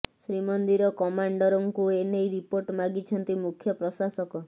ଶ୍ରୀମନ୍ଦିର କମାଣ୍ଡରଙ୍କୁ ଏ ନେଇ ରିପୋର୍ଟ ମାଗିଛନ୍ତି ମୁଖ୍ୟ ପ୍ରଶାସକ